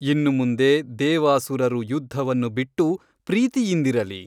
ಇನ್ನು ಮುಂದೆ ದೇವಾಸುರರು ಯುದ್ಧವನ್ನು ಬಿಟ್ಟು ಪ್ರೀತಿಯಿಂದಿರಲಿ.